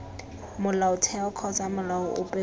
molaotheo kgotsa molao ope kopa